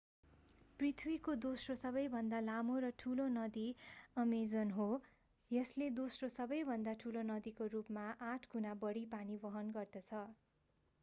पृथ्वीको दोस्रो सबैभन्दा लामो र ठूलो नदी अमेजन हो यसले दोस्रो सबैभन्दा ठूलो नदीको रूपमा 8 गुणा बढी पानी वहन गर्दछ